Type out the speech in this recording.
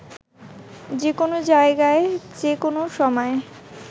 যে কোনও জায়গায় যে কোনও সময়